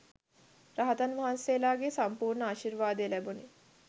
රහතන් වහන්සේලාගේ සම්පූර්ණ ආශිර්වාදය ලැබුණි.